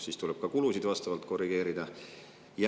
Siis tuleb ka kulusid vastavalt korrigeerida.